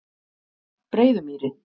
Breiðumýri